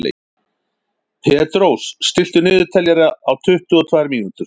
Petrós, stilltu niðurteljara á tuttugu og tvær mínútur.